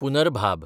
पुनरभाब